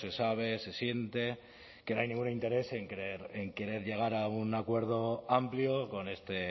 se sabe se siente que no hay ningún interés en querer llegar a un acuerdo amplio con este